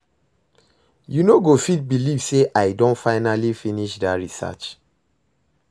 You no go fit believe say I don finally finish dat research